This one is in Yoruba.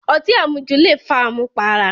Ọtí àmujù le fa àmùpara